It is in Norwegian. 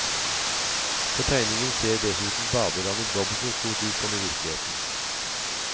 På tegningen ser dessuten badelandet dobbelt så stort ut som i virkeligheten.